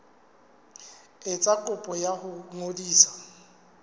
etsa kopo ya ho ngodisa